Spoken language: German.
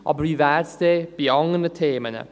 Aber wie wäre es denn bei anderen Themen?